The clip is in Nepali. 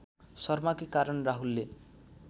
शर्माकै कारण राहुलले